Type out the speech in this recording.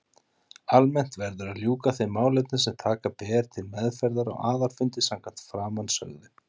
Almennt verður að ljúka þeim málefnum sem taka ber til meðferðar á aðalfundi samkvæmt framansögðu.